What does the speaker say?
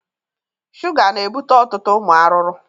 Shuga na ebute ọtụtụ ụmụ aruru